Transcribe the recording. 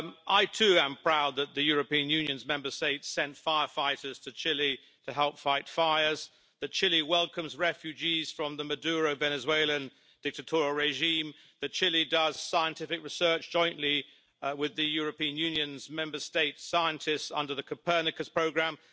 I too am proud that the European Union's Member States sent firefighters to Chile to help fight fires, that Chile welcomes refugees from the Maduro Venezuelan dictatorial regime and that Chile does scientific research jointly with the European Union's Member States' scientists under the Copernicus programme.